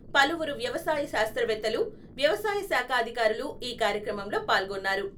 పలువురు వ్యవసాయ శాస్త్రవేత్తలు, వ్యవసాయ శాఖాధికారులు ఈ కార్యక్రమంలో పాల్గొన్నారు.